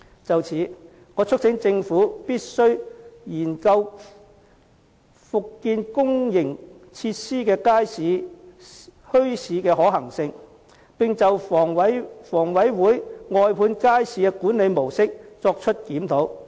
就此，我促請政府必須研究復建公營設施如街市和墟市的可行性，並就房委會外判街市的管理模式作檢討。